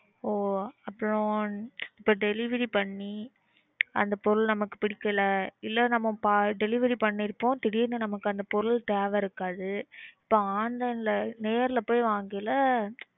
ஆஹ் அப்புறம் delivery பண்ணி அந்த பொருள் நமக்கு பிடிக்கல இல்ல நம்ம delivery பண்ணிருப்போம் திடீர்னு நமக்கு அந்த பொருள் தேவை இருக்காது அப்ப online ல நேர்ல போயி வாங்கைல